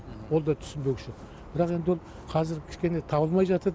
ол да түсінбеушілік бірақ енді ол қазір кішкене табылмай жатыр